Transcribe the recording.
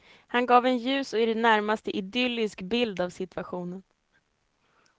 Han gav en ljus och i det närmaste idyllisk bild av situationen.